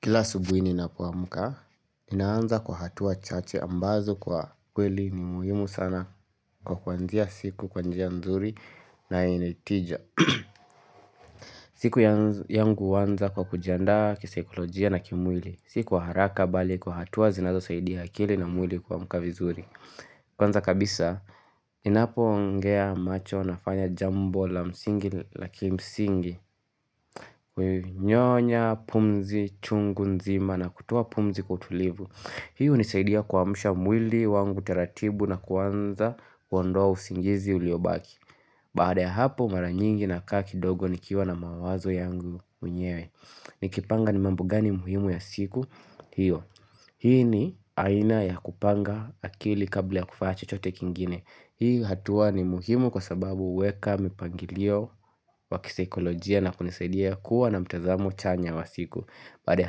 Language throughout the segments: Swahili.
Kila asubuhi ninapoamka, ninaanza kwa hatua chache ambazo kwa kweli ni muhimu sana kwa kuanzia siku kwa njia mzuri na yenye tija. Siku yangu huanza kwa kujiandaa kisaikolojia na kimwili, si kwa haraka bali kwa hatua zinazosaidia akili na mwili kuamka vizuri. Kwanza kabisa, ninapo ongea macho nafanya jambo la msingi la kimsingi Nyonya, pumzi, chungu nzima na kutoa pumzi kwa utulivu Hii hunisaidia kuamsha mwili wangu taratibu na kuanza kuondoa usingizi uliobaki Baada ya hapo mara nyingi nakaa kidogo nikiwa na mawazo yangu mwenyewe Nikipanga ni mambo gani muhimu ya siku hiyo, hii ni aina ya kupanga akili kabla ya kufanya chochote kingine Hii hatua ni muhimu kwa sababu huweka mipangilio wa kisaikolojia na kunisaidia kuwa na mtazamo chanya wa siku Baada ya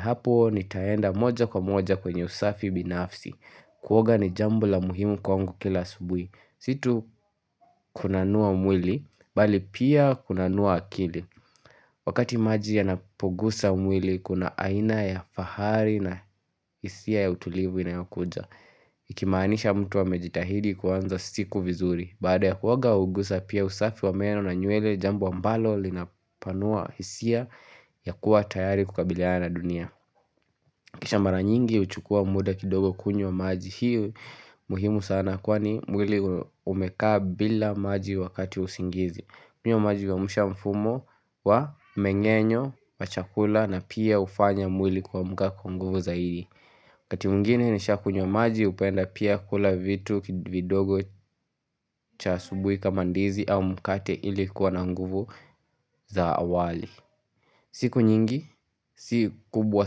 hapo nitaenda moja kwa moja kwenye usafi binafsi Kuoga ni jambo la muhimu kwangu kila asubuhi Si tu kunanua mwili, bali pia kunanua akili Wakati maji yanapogusa mwili kuna aina ya fahari na hisia ya utulivu inayokuja Ikimaanisha mtu amejitahidi kuanza siku vizuri Baada ya kuoga huguza pia usafi wa meno na nywele jambo ambalo linapanua hisia ya kuwa tayari kukabiliana na dunia Kisha mara nyingi huchukua muda kidogo kunywa maji hii muhimu sana kwani mwili umekaa bila maji wakati wa usingizi kunywa maji huamsha mfumo wa menyenyo, wa chakula na pia hufanya mwili kuamka kwa nguvu zaidi wakati mwingine nikisha kunywa maji hupenda pia kula vitu vidogo cha asubuhi kama ndizi au mkate ili kuwa na nguvu za awali siku nyingi, si kubwa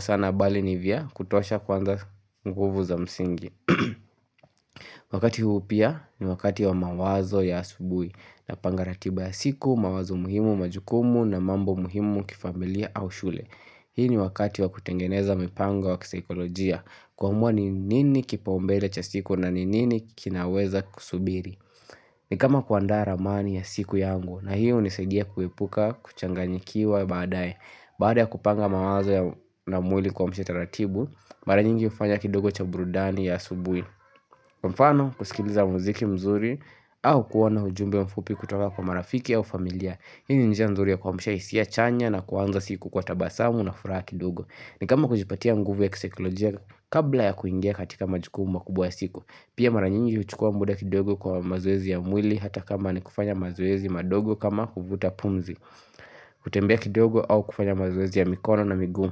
sana bali ni vya kutosha kwanza nguvu za msingi Wakati huu pia ni wakati wa mawazo ya asubuhi Napanga ratiba ya siku, mawazo muhimu, majukumu na mambo muhimu kifamilia au shule Hii ni wakati wa kutengeneza mipango wa kisaikolojia kuamua ni nini kipaumbele cha siku na ni nini kinaweza kusubiri ni kama kuandaa ramani ya siku yangu na hio hunisaidia kuepuka, kuchanganyikiwa, baadae Baada ya kupanga mawazo ya na mwili kuamsha taratibu Mara nyingi hufanya kidogo cha burudani ya asubuhi Kwa mfano kusikiliza muziki mzuri au kuwa na ujumbe mfupi kutoka kwa marafiki au familia Hii ni njia mzuri ya kumsha hisia chanya na kuanza siku kwa tabasamu na furaha kidogo ni kama kujipatia nguvu ya kisaikilojia kabla ya kuingia katika majukumu makubwa ya siku Pia mara nyingi huchukua muda kidogo kwa mazoezi ya mwili hata kama ni kufanya mazoezi madogo kama kuvuta pumzi kutembea kidogo au kufanya mazoezi ya mikono na miguu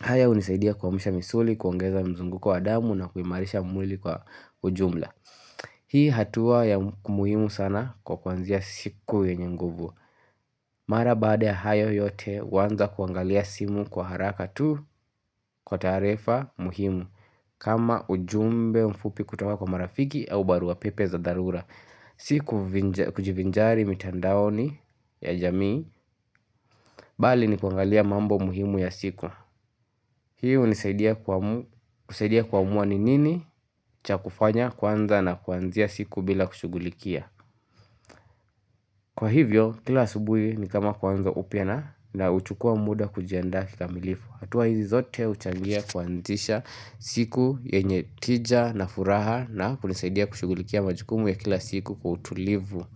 haya hunisaidia kuamsha misuli, kuongeza mzunguko wa damu na kuimarisha mwili kwa ujumla Hii hatua ya umuhimu sana kwa kwa kuanzia siku yenye nguvu Mara baada ya hayo yote waanza kuangalia simu kwa haraka tu kwa taarifa muhimu kama ujumbe mfupi kutoka kwa marafiki au barua pepe za dharura Si kujivinjari mitandaoni ya jamii Bali ni kuangalia mambo muhimu ya siku Hii hunisaidia kuamua ni nini cha kufanya kwanza na kuanzia siku bila kushughulikia. Kwa hivyo, kila asubuhi ni kama kuanza upya na nauchukua muda kujiandaa kikamilifu. Hatuwa hizi zote huchangia kuanzisha siku yenye tija na furaha na kunisaidia kushugulikia majukumu ya kila siku kwa utulivu.